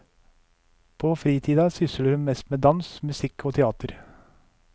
På fritida sysler hun mest med dans, musikk og teater.